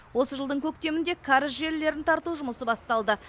осы жылдың көктемінде кәріз желілерін тарту жұмысы басталды